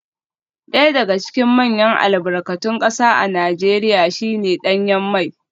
Daya daga cikin manyan albarkatun kasa a Najeriya shi ne danyen mai